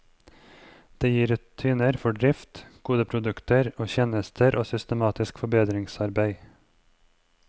Det gir rutiner for drift, gode produkter og tjenester og systematisk forbedringsarbeid.